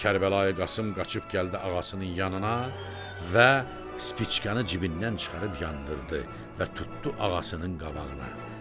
Kərbəlayı Qasım qaçıb gəldi ağasının yanına və spickanı cibindən çıxarıb yandırdı və tutdu ağasının qabağına.